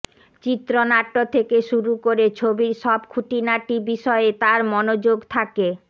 চিত্রনাট্য থেকে শুরু করে ছবির সব খুঁটিনাটি বিষয়ে তার মনযোগ থাকে